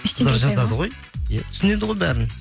түсінеді ғой бәрін